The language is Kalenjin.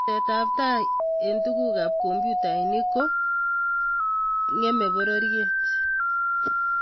teset ab tai eng tuguk ab komputainik ko kemee pororiet